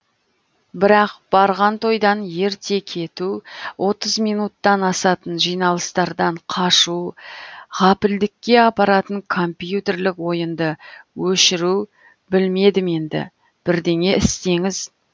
бірақ барған тойдан ерте кету отыз минуттан асатын жиналыстардан қашу ғапілдікке апаратын компьютерлік ойынды өшіру білмедім енді бірдеңе істеңіз